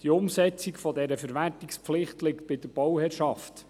Die Umsetzung dieser Verwertungspflicht liegt bei der Bauherrschaft.